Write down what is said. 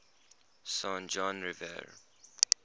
san juan river